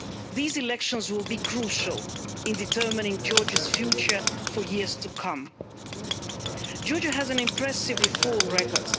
These elections will be crucial in determining Georgia's future for years to come. Georgia has an impressive reform record.